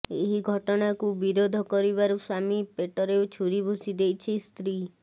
ଏହି ଘଟଣାକୁ ବିରୋଧ କରିବାରୁ ସ୍ବାମୀ ପେଟରେ ଛୁରୀଭୁସି ଦେଇଛି ସ୍ତ୍ରୀ